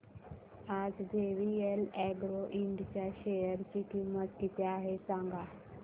आज JVL Agro Ind च्या share ची किंमत किती आहे सांगा